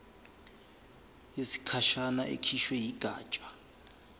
yesikhashana ekhishwe yigatsha